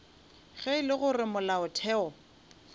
ge e le gore molaotheo